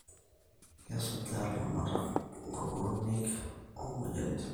Kesujaa ilaramatak nkukunik omoyiaritin